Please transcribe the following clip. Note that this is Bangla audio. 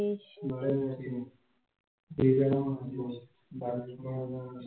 ভালো আছি, তুই কেমন আছিস? বাড়ির সবাই কেমন আছে?